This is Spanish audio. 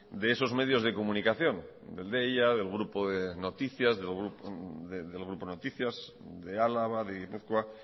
de esos medios de comunicación del deia del grupo noticias de álava de gipuzkoa